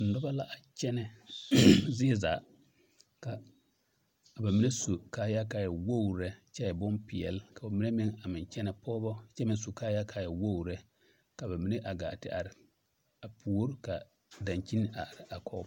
Nobɔ la a kyɛnɛ zie zaa ka a ba mine su kaayaa kaa waa wogru lɛ kyɛ e bompeɛl ka ba mine meŋ kyɛnɛ pɔgebɔ kyɛ meŋ su kaayaa kaa e wogru lɛ ka ba mine gaa te are a puore ka daŋkyin a are kɔge.